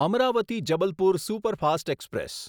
Amravati Jabalpur superfast express